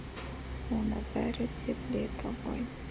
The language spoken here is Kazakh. оны бәрі де біледі ғой